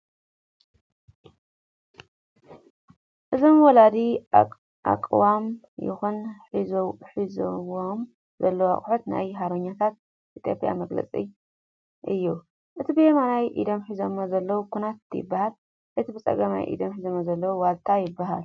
እዞም ወላዲ ኣቛሞም ይኹን ሒዞሙዎ ዘለዉ ኣቑሑት ናይ ሓርበኛታት ኢ/ያን መግለፂ እዩ ፡ እቲ ብየማናይ ኢዶም ሒዞምዎ ዘለዉ ኩናት ይበሃል እቲ ብፀጋም ኢዶም ዝሓዝዎ ዋልታ ይበሃል ።